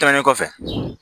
Tɛmɛnen kɔfɛ